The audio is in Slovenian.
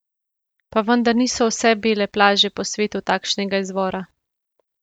Pa vendar niso vse bele plaže po svetu takšnega izvora.